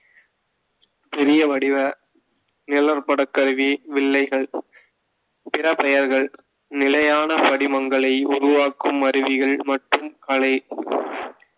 பெரிய வடிவ நிழற்படக்கருவி வில்லைகள் பிற பெயர்கள்நிலையான படிமங்களை உருவாக்கும் அறிவிகல் மற்றும் கலை